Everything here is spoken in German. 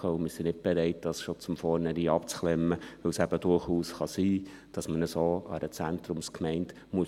Wir sind nicht bereit, dies schon von vornherein abzuklemmen, weil es eben durchaus sein kann, dass man so einer Zentrumsgemeinde hilft.